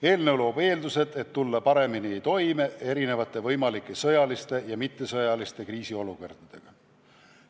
Eelnõu loob eeldused tulla paremini toime erinevate võimalike sõjaliste ja mittesõjaliste kriisiolukordadega.